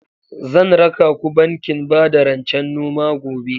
Zan raka ku bankin bada rancen noma gobe.